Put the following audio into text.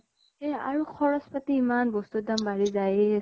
সেয়া । আৰু খৰছ পাতি ইমান । বস্তু ৰ দাম বাঢ়ি যায়ে